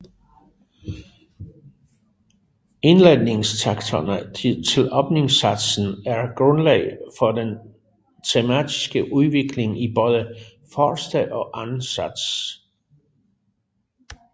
Indledningstakterne til åbningssatsen er grundlag for den tematiske udvikling i både første og anden sats